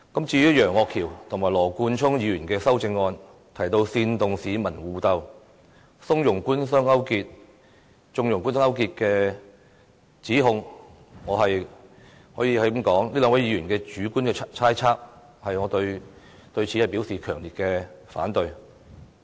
至於楊岳橋議員及羅冠聰議員的修正案提到"煽動市民互鬥"、"縱容'官商鄉黑'勾結"的指控，我可以說，這只是兩位議員的主觀猜測，我對此表示強烈反對。